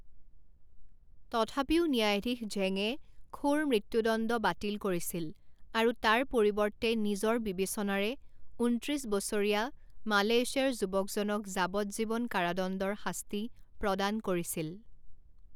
তথাপিও ন্যায়াধীশ ঝেঙে খোৰ মৃত্যুদণ্ড বাতিল কৰিছিল আৰু তাৰ পৰিৱৰ্তে নিজৰ বিবেচনাৰে ঊনত্ৰিছ বছৰীয়া মালয়েছিয়াৰ যুৱকজনক যাৱজ্জীৱন কাৰাদণ্ডৰ শাস্তি প্ৰদান কৰিছিল।